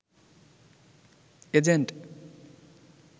agent